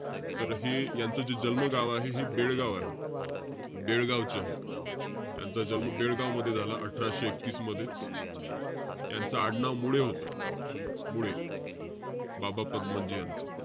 तर हे यांचं जे जन्मगाव आहे, हे बेळगाव आहे. बेळगावचे आहे. त्यांचा जन्म बेळगावमध्ये झाला, अठराशे एकतीस मधेच. त्यांचं आडनाव मुळे होतं. मुळे. बाबा पदमनजी यांचं.